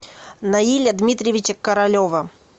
наиля дмитриевича королева